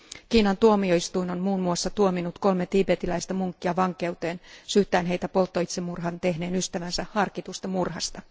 Kiinan tuomioistuin on muun muassa tuominnut kolme tiibetiläistä munkkia vankeuteen syyttäen heitä polttoitsemurhan tehneen ystävänsä harkitusta murhasta.